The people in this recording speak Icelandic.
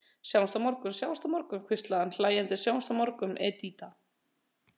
Sjáumst á morgun, sjáumst á morgun, hvíslaði hann hlæjandi, sjáumst á morgun, Edita.